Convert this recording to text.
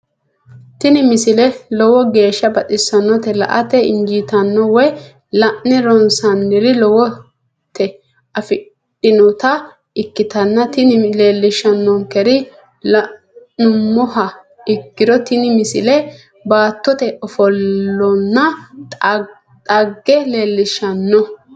tini misile lowo geeshsha baxissannote la"ate injiitanno woy la'ne ronsannire lowote afidhinota ikkitanna tini leellishshannonkeri la'nummoha ikkiro tini misile baattote ofollonna xagge leellishshanno.